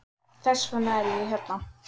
Þess vegna er ég hérna.